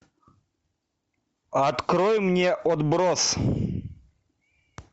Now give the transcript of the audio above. открой мне отброс